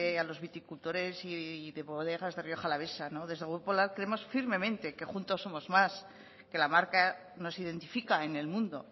a los viticultores de bodegas de rioja alavesa no desde el grupo popular creemos firmemente que juntos somos más que la marca nos identifica en el mundo